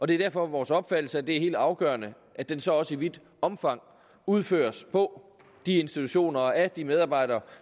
det er derfor vores opfattelse at det er helt afgørende at den så også i vidt omfang udføres på de institutioner og at de medarbejdere